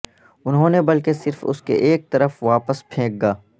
انہوں نے بلکہ صرف اس کے ایک طرف واپس پھینک گا